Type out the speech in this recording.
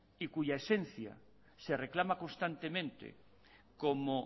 y cuya esencia se reclama constantemente como